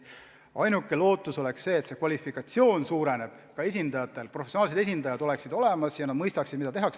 Ainuke lootus on see, esindajate kvalifikatsioon tõuseb, et professionaalsed esindajad oleksid olemas ja nad mõistaksid, mida tehakse.